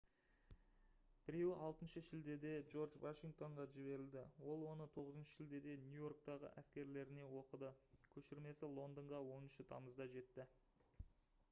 біреуі 6 шілдеде джордж вашингтонға жіберілді ол оны 9 шілдеде нью-йорктегі әскерлеріне оқыды көшірмесі лондонға 10 тамызда жетті